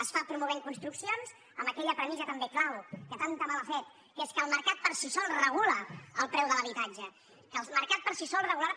es fa promovent construccions amb aquella premissa també clau que tant de mal ha fet que és que el mercat per si sol regula el preu de l’habitatge que el mercat per si sol regularà